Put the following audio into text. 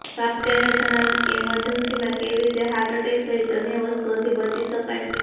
સાથે જ તેમણે જણાવ્યું કે ઇમરજન્સીમાં કેવી રીતે હાર્ટ એટેક સહિત અન્ય વસ્તુઓથી બચી શકાય